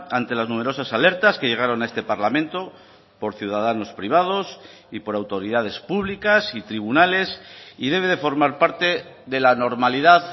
ante las numerosas alertas que llegaron a este parlamento por ciudadanos privados y por autoridades públicas y tribunales y debe de formar parte de la normalidad